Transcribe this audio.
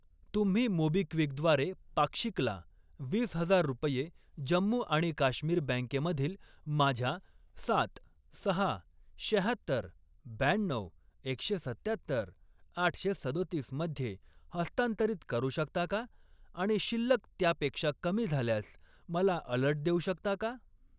तुम्ही मोबिक्विक द्वारे पाक्षिकला वीस हजार रुपये जम्मू आणि काश्मीर बँके मधील माझ्या सात, सहा, शहात्तर, ब्याण्णऊ, एकशे सत्त्यात्तर, आठशे सदोतीस मध्ये हस्तांतरित करू शकता का आणि शिल्लक त्यापेक्षा कमी झाल्यास मला अलर्ट देऊ शकता का?